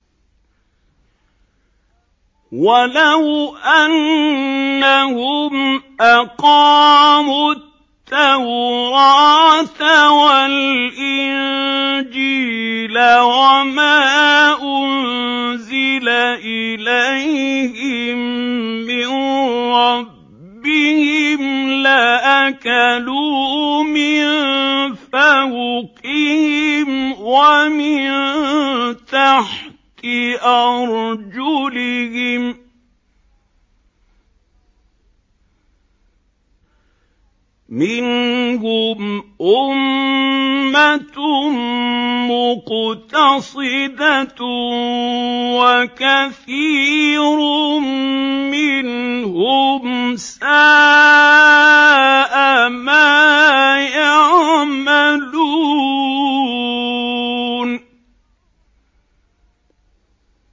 وَلَوْ أَنَّهُمْ أَقَامُوا التَّوْرَاةَ وَالْإِنجِيلَ وَمَا أُنزِلَ إِلَيْهِم مِّن رَّبِّهِمْ لَأَكَلُوا مِن فَوْقِهِمْ وَمِن تَحْتِ أَرْجُلِهِم ۚ مِّنْهُمْ أُمَّةٌ مُّقْتَصِدَةٌ ۖ وَكَثِيرٌ مِّنْهُمْ سَاءَ مَا يَعْمَلُونَ